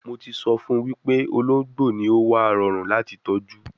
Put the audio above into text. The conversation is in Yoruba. Mo ti so fun wipe ologbo ni o wa rorun lati tọju